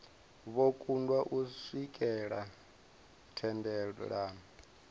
vho kundwa u swikelela thendelano